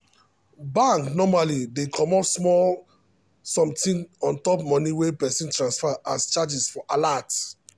bank normally dey comot small sometin ontop money wey person transfer as charges for alert